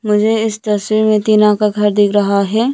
मुझे इस तस्वीर में टीना का घर दिख रहा है।